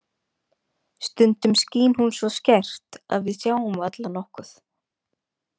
Stundum skín hún svo skært að við sjáum varla nokkuð.